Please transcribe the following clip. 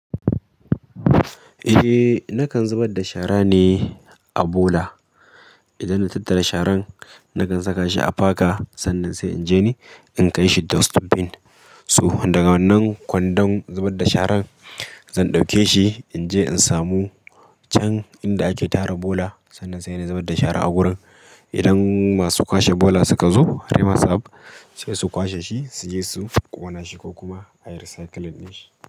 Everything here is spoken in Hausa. Eh, nakan zubar da shara ne a bola. Idan na tattara sharan nakan saka shi a faka, sannan sai in je ni in kai shi dustbin. So daga wannan kwandon zubar da sharan zan dauke shi in je in samu can inda ake tara bola sannan sai na zubar da shara a gurin idan masu kwashe bola suka zo harima sab sai su kwashe shi, su je shi ƙona shi ko kuma ayi recycling din shi.